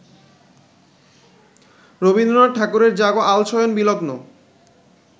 রবীন্দ্রনাথ ঠাকুরের জাগ আলসশয়নবিলগ্ন